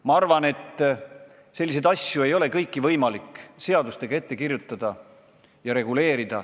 Ma arvan, et kõiki selliseid asju ei ole võimalik seadustega ette kirjutada.